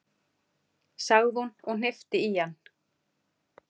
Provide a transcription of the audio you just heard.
sagði hún og hnippti í hann.